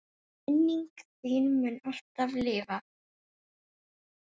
Minning þín mun alltaf lifa.